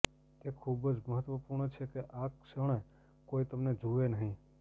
તે ખૂબ જ મહત્વપૂર્ણ છે કે આ ક્ષણે કોઈ તમને જુએ નહીં